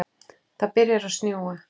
Það byrjar að snjóa.